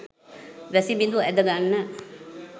වැසිබිඳු ඇද ගන්න